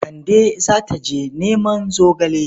Kande za ta je neman zogale.